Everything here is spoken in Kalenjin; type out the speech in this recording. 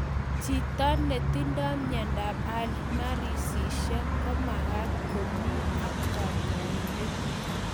Chito netindoi miondap alzheimersishek kumakat komi ak kanyaindet